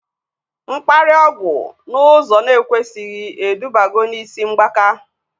Mkparịa ọgwụ n'ụzọ na ekwesighi edubago na isi mgbaka